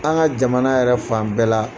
An ka jamana yɛrɛ fan bɛɛ la